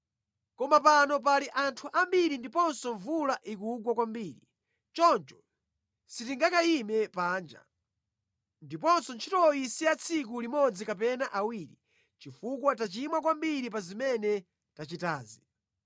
Koma pano pali anthu ambiri ndiponso mvula ikugwa kwambiri, choncho sitingakayime panja. Ndiponso ntchitoyi si ya tsiku limodzi kapena awiri, chifukwa tachimwa kwambiri pa zimene tachitazi.